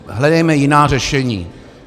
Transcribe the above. Hledejme jiná řešení.